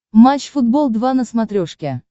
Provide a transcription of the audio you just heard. матч футбол два на смотрешке